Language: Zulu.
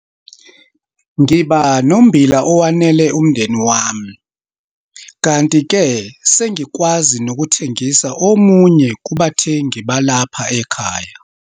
Ngiba nommbila owanele umndeni wami, kanti-ke sengikwazi nokuthengisa omunye kubathengi balapha ekhaya.